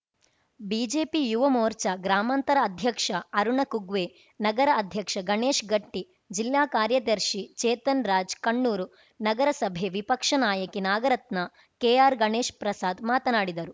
BJP Yuva Morcha ಗ್ರಾಮಾಂತರ ಅಧ್ಯಕ್ಷ ಅರುಣಕುಗ್ವೆ ನಗರ ಅಧ್ಯಕ್ಷ ಗಣೇಶ್‌ ಗಟ್ಟಿ ಜಿಲ್ಲಾ ಕಾರ್ಯದರ್ಶಿ ಚೇತನ್ ರಾಜ್‌ ಕಣ್ಣೂರು ನಗರಸಭೆ ವಿಪಕ್ಷ ನಾಯಕಿ ನಾಗರತ್ನ ಕೆಆರ್‌ ಗಣೇಶ್ ಪ್ರಸಾದ್‌ ಮಾತನಾಡಿದರು